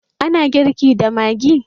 A na girki da maggi.